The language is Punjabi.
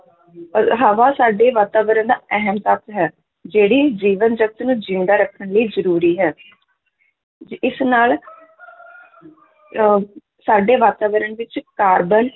ਅਹ ਹਵਾ ਸਾਡੇ ਵਾਤਾਵਰਨ ਦਾ ਅਹਿਮ ਤੱਤ ਹੈ, ਜਿਹੜੀ ਜੀਵਨ ਜਗਤ ਨੂੰ ਜ਼ਿੰਦਾ ਰੱਖਣ ਲਈ ਜ਼ਰੂਰੀ ਹੈ ਜ~ ਇਸ ਨਾਲ ਅਹ ਸਾਡੇ ਵਾਤਾਵਰਨ ਵਿੱਚ ਕਾਰਬਨ